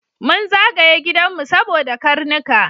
Mun zagaye gidanmu saboda karnuka.